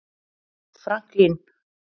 Franklín